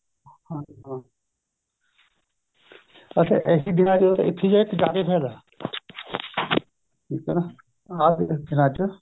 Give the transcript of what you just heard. ਅੱਛਾ ਏਹੀ ਦਿਨਾਂ ਵਿੱਚ ਇਥੇ ਜਾਕੇ ਫਾਇਦਾ ਏ ਠੀਕ ਏ ਆਂ ਵਾਲੇ ਦਿਨਾਂ ਚ